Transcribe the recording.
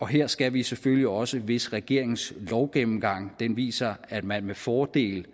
her skal vi selvfølgelig også hvis regeringens lovgennemgang viser at man med fordel